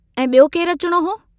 ऐं ॿियो केरु अचणो हो?